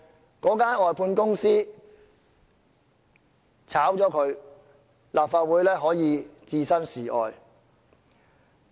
如果他們被外判公司辭退，立法會可以置身事外。